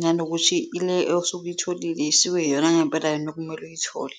nanokuthi ile osuke uyitholile iyona ngempela yini okumele uyithole.